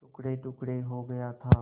टुकड़ेटुकड़े हो गया था